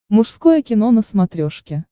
мужское кино на смотрешке